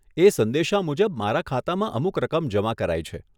એ સંદેશા મુજબ મારા ખાતામાં અમુક રકમ જમા કરાઈ છે.